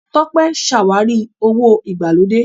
Tọ́pé ṣàwárí owó ìgbàlódé.